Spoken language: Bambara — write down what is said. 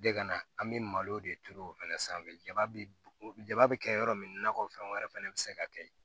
De ka na an bɛ malo de turu o fana sanfɛ jaba ja bɛ kɛ yɔrɔ min na kɔ fɛn wɛrɛ fana bɛ se ka kɛ